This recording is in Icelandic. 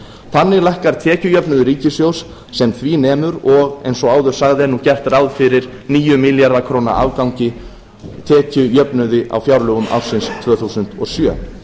þannig lækkar tekjujöfnuður ríkissjóðs sem því nemur og eins og áður sagði er nú gert ráð fyrir níu milljarða króna afgangi tekjujöfnuði á fjárlögum ársins tvö þúsund og sjö